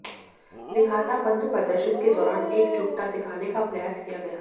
लिहाजा बंद प्रदर्शन के दौरान एकजुटता दिखाने का प्रयास किया गया